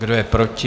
Kdo je proti?